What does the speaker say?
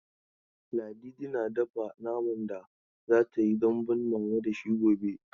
Ladidi na dafa naman da za ta yi dambun mama da shi gobe.